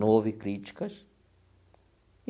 Não houve críticas.